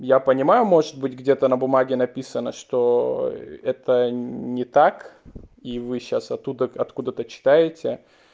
я понимаю может быть где-то на бумаге написано что это не так и вы сейчас оттуда откуда-то читаете